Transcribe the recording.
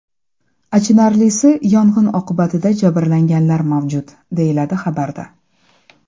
Achinarlisi yong‘in oqibatida jabrlanganlar mavjud”, deyiladi xabarda.